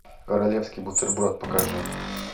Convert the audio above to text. королевский бутерброд покажи